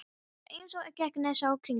Hún var eins og gegnsæ kringla.